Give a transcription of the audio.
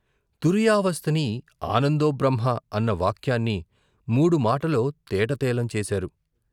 తురీయావస్థని, ఆనందోబ్రహ్మ అన్న వాక్యాన్ని మూడు మాటలో తేట తెలం చేశారు.